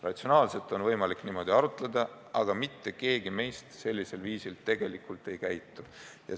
Ratsionaalselt on võimalik niimoodi arutleda, aga mitte keegi meist sellisel viisil tegelikult ei käitu.